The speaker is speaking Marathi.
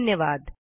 धन्यवाद